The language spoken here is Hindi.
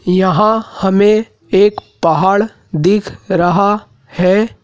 यहाँ हमें एक पहाड़ दिख रहा है।